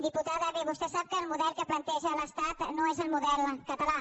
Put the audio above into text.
diputada bé vostè sap que el model que planteja l’estat no és el model català